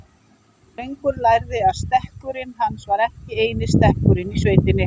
Drengur lærði að stekkurinn hans var ekki eini stekkurinn í sveitinni.